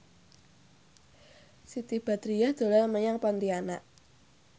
Siti Badriah dolan menyang Pontianak